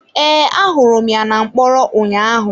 Ee ahụrụ m ya na mkpọrọ ụnyaahụ.